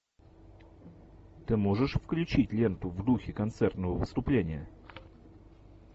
ты можешь включить ленту в духе концертного выступления